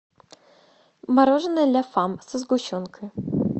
мороженое ля фам со сгущенкой